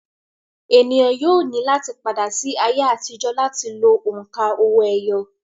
ènìyàn yóò ní láti padà sí ayé àtijọ́ láti lo òǹkà owó-ẹyọ